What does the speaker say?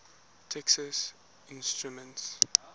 texas instruments